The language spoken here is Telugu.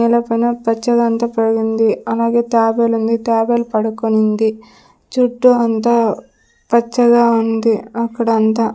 నెల పైన పచ్చదంతా పోయింది అలాగే తాబేలు ఉంది తాబేలు పడుకొనింది చుట్టూ అంతా పచ్చగా ఉంది అక్కడ అంతా.